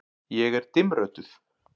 Ég er dimmrödduð.